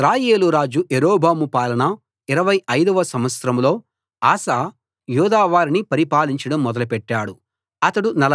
ఇశ్రాయేలు రాజు యరొబాము పాలన 25 వ సంవత్సరంలో ఆసా యూదా వారిని పరిపాలించడం మొదలెట్టాడు